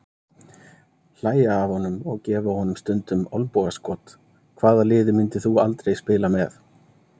Hlægja af honum og gefa honum stundum olnbogaskot Hvaða liði myndir þú aldrei spila með?